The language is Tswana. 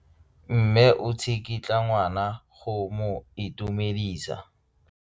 Mme o tsikitla ngwana go mo itumedisa.